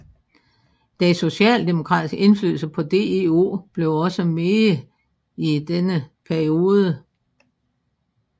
Den socialdemokratiske indflydelse på DEO blev også mindre i denne periode